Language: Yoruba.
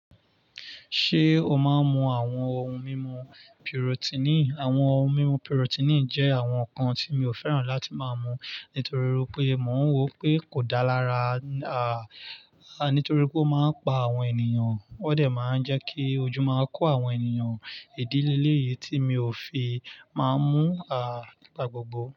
Ṣé o máa ń mu àwọn ohun mímu piròtínì? Àwọn ohun mímu pùròtínì jẹ́ àwọn nǹkan tí mi ò fẹ́ràn láti máa mú nítorí pé mò ń wò pé kò dá lará nítorí pé ó máa ń pa àwọn ènìyàn. Ó de máa ń jẹ́ kí ojú máa kó àwọn ènìyàn. Ìdí lé léyìí tí mi ò fi máa ń mú nigba gbogbo.